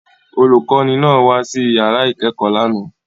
Olùkọ́ní náà wá sí ìyàrá ìkẹ́kọ̀ọ́ lánàá.